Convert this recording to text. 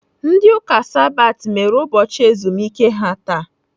Ndị Ụka Sabat mere ụbọchị ezumike ha taa.